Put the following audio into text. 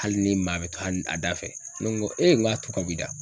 Hali ni maa be to a da fɛ, ne ko n ko ee n ko a tu ka b'i da.